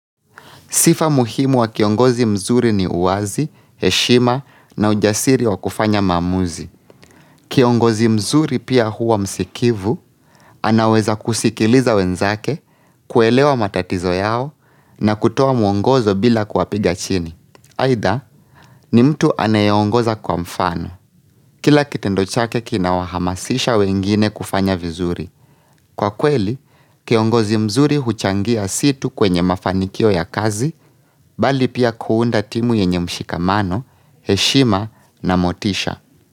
Sifa muhimu wa kiongozi mzuri ni uwazi, heshima na ujasiri wa kufanya maamuzi. Kiongozi mzuri pia huwa msikivu, anaweza kusikiliza wenzake, kuelewa matatizo yao na kutoa mwongozo bila kuwapiga chini. Aidha, ni mtu anayeongoza kwa mfano. Kila kitendo chake kinawahamasisha wengine kufanya vizuri. Kwa kweli, kiongozi mzuri huchangia si tu kwenye mafanikio ya kazi, bali pia kuunda timu yenye mshikamano, heshima na motisha.